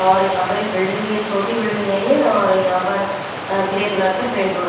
और यहाँ पर एक बिल्डिंग भी है छोटी बिल्डिंग है ये और यहाँ पर ग्रे कलर से पेन्ट हो--